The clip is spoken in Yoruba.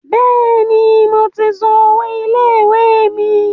Bẹ́ẹ̀ni, mo ti san owó ilé ìwé mi.